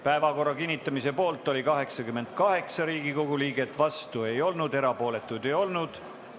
Päevakorra kinnitamise poolt oli 88 Riigikogu liiget, vastuolijaid ei olnud, erapooletuid ei olnud.